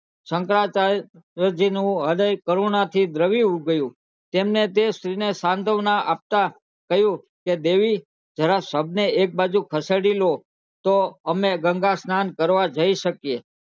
શંકરાચાર્ય જી નું હૃદય કરુણા થી દ્રવી ગયું તેમને તે સ્ત્રી ને સાંત્વના આપતા કહ્યું કે દેવી જરા શવ ને એક બાજુ ખસેડી લો તો અમે ગંગા સ્નાન કરવા જય શકીયે